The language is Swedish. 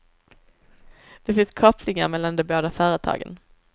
Det finns kopplingar mellan de båda företagen.